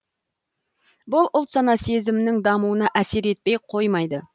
бұл ұлт сана сезімнің дамуына әсер етпей қоймады